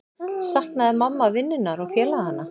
Saknaði mamma vinnunnar og félaganna?